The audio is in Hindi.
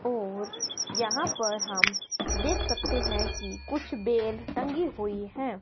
ओर यहां पर हम देख सकते हैं कि कुछ बेल टँगी हुई है।